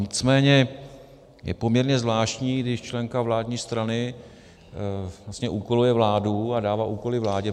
Nicméně je poměrně zvláštní, když členka vládní strany vlastně úkoluje vládu a dává úkoly vládě.